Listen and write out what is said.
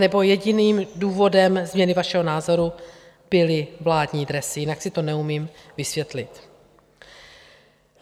Anebo jediným důvodem změny vašeho názoru byly vládní dresy, jinak si to neumím vysvětlit.